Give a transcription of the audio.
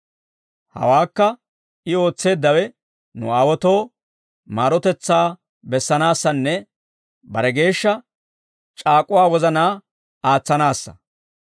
Hawaakka I ootseeddawe, nu aawaatoo, maarotetsaa bessanaassanne, bare geeshsha c'aak'uwaa wozanaa aatsanaassa.